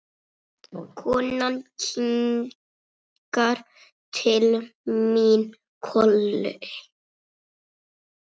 Konan kinkar til mín kolli.